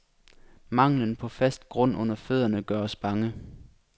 Manglen på fast grund under fødderne gør os bange.